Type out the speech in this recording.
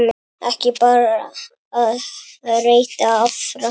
Ekki bara að reyta arfa!